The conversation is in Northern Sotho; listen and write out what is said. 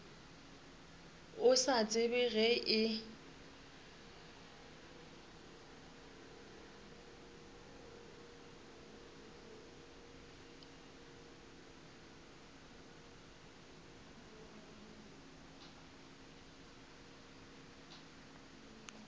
a sa tsebe ge e